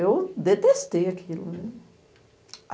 Eu detestei aquilo, né.